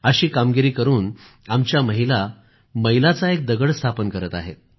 अशी कामगिरी करून आमच्या महिला मैलाचा एक दगड स्थापन करत आहेत